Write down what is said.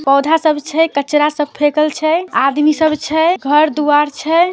पौधा सब छै कचरा सब फैकल छै आदमी सब छै घर दुवार छै --